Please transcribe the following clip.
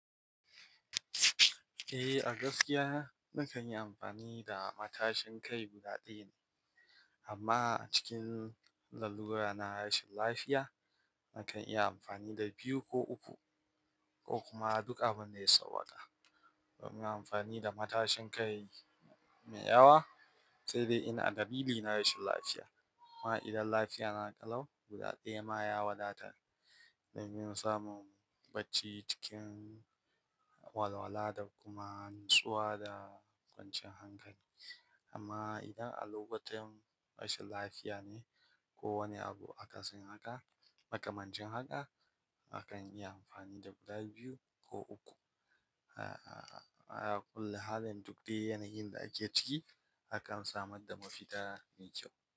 Eh, a gaskiya na kan yi amfani da matashin kai guda ɗaya ne. Amma cikin lalura na rashin lafiya, na kan iya amfani da biyu ko uku ko kuma duk abun da ya sauwaka. Domin amfani da matashin kai mai yawa, sai dai ina dalilii na rashin lafiya. Amma idan lafiya na ƙalau, guda ɗaya ma ya wadatar da yin samun bacci cikin walwala da kuma natsuwa da kwancan hankali. Amma idan a lokutan rashin lafiya ne ko wani abu aka sin haka, makamancin haka, na kan yi amfani da guda biyu ko uku. A-a-a, kullum halin duk dai yanayin da ake ciki, akan samar da mafita mai kyau.